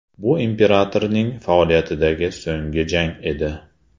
Bu imperatorning faoliyatidagi so‘nggi jang edi.